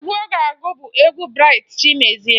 Egwu ọ ga-agụ bụ egwu Braịt Chimezie